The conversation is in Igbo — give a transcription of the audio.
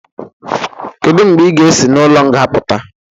Kedụ mgbe ị ga-esị n'ụlo nga pụta?